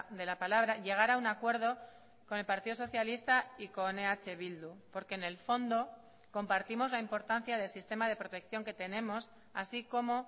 de la palabra llegar a un acuerdo con el partido socialista y con eh bildu porque en el fondo compartimos la importancia del sistema de protección que tenemos así como